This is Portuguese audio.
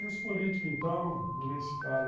E os políticos, então, nem se fala.